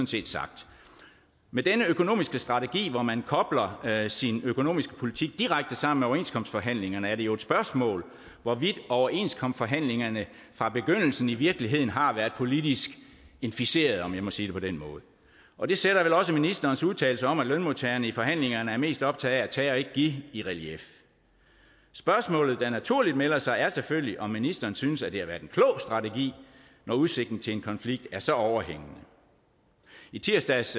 set sagt med denne økonomiske strategi hvor man kobler sin økonomiske politik direkte sammen med overenskomstforhandlingerne er det jo et spørgsmål hvorvidt overenskomstforhandlingen fra begyndelsen i virkeligheden har været politisk inficeret om jeg må sige det på den måde og det sætter vel også ministerens udtalelse om at lønmodtagerne i forhandlingerne er mest optaget af at tage og ikke give i relief spørgsmålet der naturligt melder sig er selvfølgelig om ministeren synes det har været en klog strategi når udsigten til en konflikt er så overhængende i tirsdags